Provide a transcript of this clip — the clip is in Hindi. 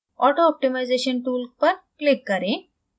auto optimization tool पर click करें